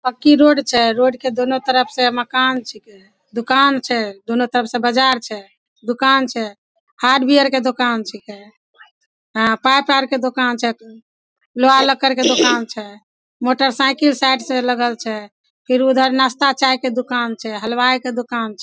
पक्की रोड छै रोड के दोनों तरफ से मकान छै दुकान छै दोनो तरफ से बाजार छै दुकान छै हार्डवेयर के दुकान छिके अ पाइप आर के दुकान छै लोहा-लक्कड़ के दुकान छै मोटर साइकिल साइड से लगल छै फिर उधर नास्ता चाय के दुकान छै हलवाई के दुकान छै।